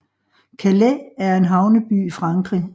Calais er en havneby i Frankrig